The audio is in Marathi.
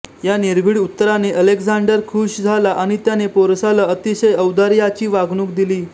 या निर्भीड उत्तराने अलेक्झांडर खूष झाला आणि त्याने पोरसाला अतिशय औदार्याची वागणूक दिली